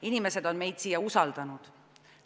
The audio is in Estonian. Inimesed on meid siia usaldanud.